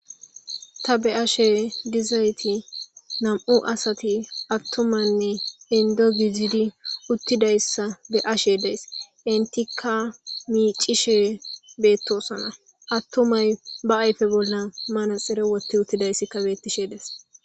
Ta be ashe dizayti nam7u asati attumanne indo gizidi uttidayssa be ashe days intikka miicishe beettosona attumay ba ayfe bolla mana xere wotti uttidayssikka bettishe des